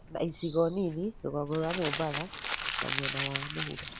na icigo nini rũgongo rũa Mũmbatha na mwena wa mũhuro.